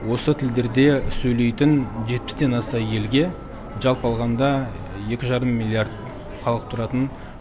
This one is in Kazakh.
осы тілдерде сөйлейтін жетпістен аса елге жалпы алғанда екі жарым миллиард халық тұратын